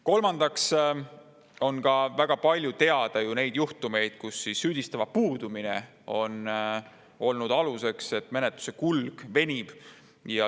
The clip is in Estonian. Kolmandaks, väga palju on teada juhtumeid, kus süüdistatava puudumine on põhjustanud menetluse venimist.